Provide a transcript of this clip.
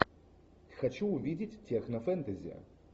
хочу увидеть технофэнтези